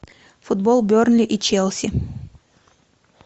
футбол бернли и челси